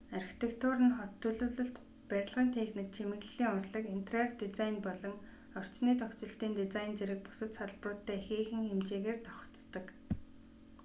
архитектур нь хот төлөвлөлт барилгын техник чимэглэлийн урлаг интерьер дизайн болон орчны тохижилтын дизайн зэрэг бусад салбаруудтай ихээхэн хэмжээгээр давхацдаг